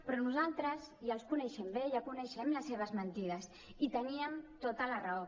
però nosaltres ja els coneixem bé ja coneixem les seves mentides i teníem tota la raó